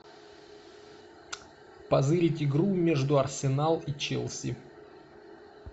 позырить игру между арсенал и челси